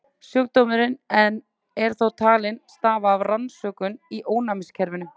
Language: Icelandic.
Sjúkdómurinn er þó talinn stafa af röskun í ónæmiskerfinu.